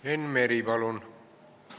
Enn Meri, palun!